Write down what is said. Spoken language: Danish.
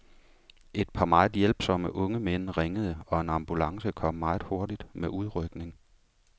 Et par meget hjælpsomme unge mænd ringede, og en ambulance kom meget hurtigt med udrykning.